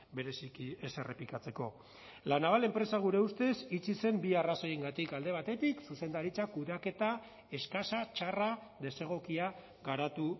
bereziki ez errepikatzeko la naval enpresa gure ustez itxi zen bi arrazoiengatik alde batetik zuzendaritza kudeaketa eskasa txarra desegokia garatu